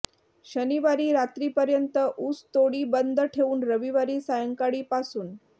शनिवारी रात्रीपर्यंत ऊस तोडी बंद ठेवून रविवारी सायंकाळी पासून